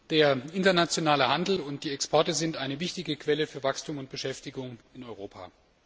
Der internationale Handel und die Exporte sind eine wichtige Quelle für Wachstum und Beschäftigung in Europa.